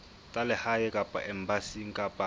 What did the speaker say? tsa lehae kapa embasing kapa